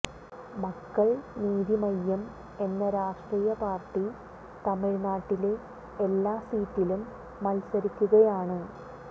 മക്കൾ നീതി മയ്യം എന്ന രാഷ്ട്രീയ പാർട്ടി തമിഴ്നാട്ടിലെ എല്ലാ സീറ്റിലും മൽസരിക്കുകയാണ്